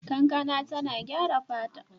Kankana tana gyara fata.